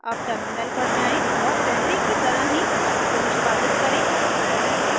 अब टर्मिनल पर जाएँ और पहले की तरह ही फाइल को निष्पादित करें